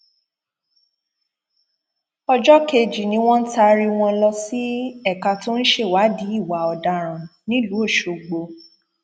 ọjọ kejì ni wọn taari wọn lọ sí ẹka tó ń ṣèwádìí ìwà ọdaràn nílùú ọṣọgbò